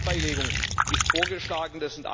Auch die Streitbeilegung ist vorgeschlagen.